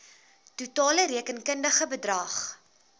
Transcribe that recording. totale rekenkundige bedrag